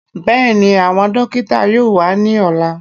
Bẹ́ẹ̀ni, àwọn dókítà yóò wá ní ọ̀lá